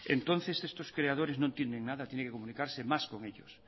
entonces estos creadores no entienden nada tiene que comunicarse más con ellos